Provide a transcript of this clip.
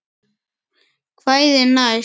Kvæðin næst?